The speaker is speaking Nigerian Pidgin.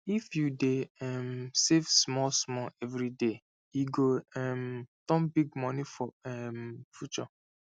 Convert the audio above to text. if you dey um save small small every day e go um turn big money for um future